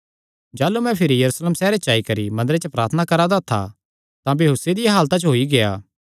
जाह़लू मैं भिरी यरूशलेम सैहरे च आई करी मंदरे च प्रार्थना करा दा था तां बेहोसी दिया हालता च होई गेआ